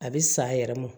A bɛ sa a yɛrɛ ma